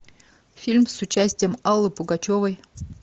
фильм с участием аллы пугачевой